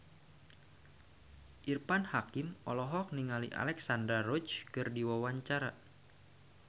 Irfan Hakim olohok ningali Alexandra Roach keur diwawancara